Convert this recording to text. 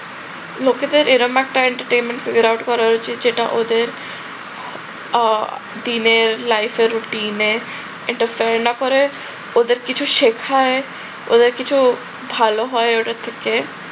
লোকেদের এরকম একটা entertainment figure out করা হয়েছে যেটা ওদের আহ দিনের life এ routine না করে ওদের কিছু শিখায় ওদের কিছু ভালো হয় ওটা থেকে